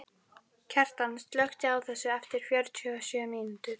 Kjartan, slökktu á þessu eftir fjörutíu og sjö mínútur.